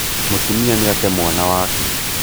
mūtumia nīate mwana wake